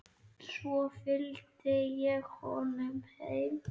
Svo fylgdi ég honum heim.